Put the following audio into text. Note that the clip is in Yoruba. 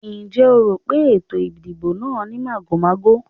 Ǹjẹ́ o rò pé ètò ìdìbò náà ní màgòmágó?